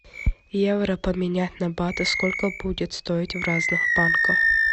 евро поменять на баты сколько будет стоить в разных банках